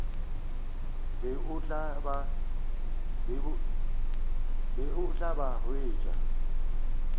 be o tla ba hwetša